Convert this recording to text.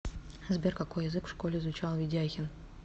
сбер какой язык в школе изучал ведяхин